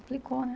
Complicou, né?